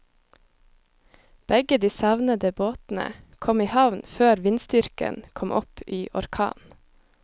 Begge de savnede båtene kom i havn før vindstyrken kom opp i orkan.